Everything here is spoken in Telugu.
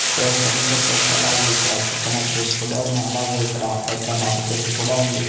స్పేస్ అని చెప్పొచ్చు అలాగే ఇక్కడ కొకనట్ ట్రీస్ కూడా ఉన్నాయి అలాగే ఇక్కడ పెద్ద మర్రిచెట్టు కూడా ఉంది.